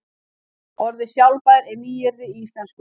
Orðið sjálfbær er nýyrði í íslensku.